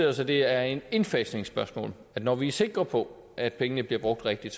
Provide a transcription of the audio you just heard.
os at det er et indfasningsspørgsmål når vi er sikre på at pengene bliver brugt rigtigt